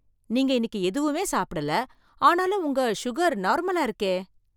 நீங்க இன்னிக்கு எதுவுமே சாப்பிடல, ஆனாலும் உங்க உங்க சுகர் நார்மலா இருக்கே!